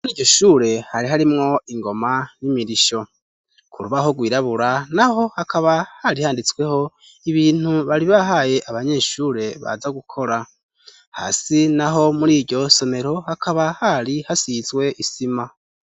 Mur'iyoshure hari harimwo ingoma n'imirisho, kurubaho gwirabura naho hakaba hari handitsweho ibintu bari bahaye abanyeshure baza gukora, hasi naho mur'iryosomero hakaba hari hasizwe isima.